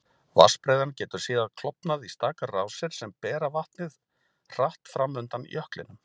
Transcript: Vatnsbreiðan getur síðan klofnað í stakar rásir sem bera vatnið hratt fram undan jöklinum.